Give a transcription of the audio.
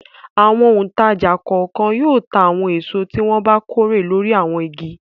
Àwọn òǹtajà kọ̀ọ̀kan yóò ta àwọn èso tí wọ́n bá kórè lórí àwọn igi.